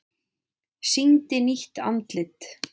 Sýndi nýtt andlit